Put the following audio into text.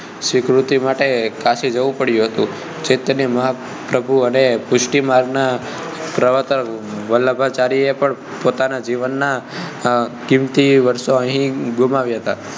સ્વીકૃતિ માટે કાશી જવું પડ્યું હતું ચૈતન્ય મહાપ્રભુ અને પુષ્ટિમાર્ગના પ્રવતર્ક વલ્લભાચાર્યજી એ પણ પોતાનાં જીવન ના કિંમતી વર્ષો અહીં ગુમાવ્યા હતા